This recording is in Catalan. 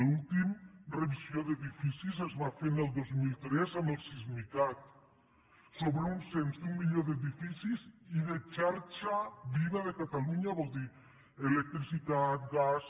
l’última revisió d’edificis es va fer el dos mil tres amb el sismicat sobre un cens d’un milió d’edificis i de xarxa viva de catalunya que vol dir electricitat gas